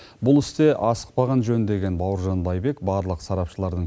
бұл істе асықпаған жөн деген бауыржан байбек барлық сарапшылардың